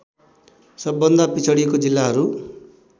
सबभन्दा पिछडिएको जिल्लाहरू